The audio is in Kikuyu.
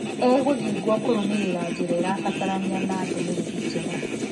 Egũthing'wo kũrũmĩrira njĩra irabatarania na ndũmĩrĩri njega".